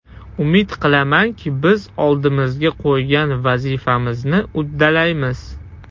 Umid qilamanki, biz oldimizga qo‘ygan vazifamizni uddalaymiz.